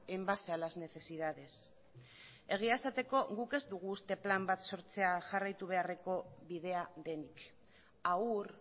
en base a las necesidades egia esateko guk ez dugu uste plan bat sortzea jarraitu beharreko bidea denik haur